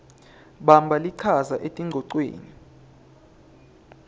bamba lichaza etingcocweni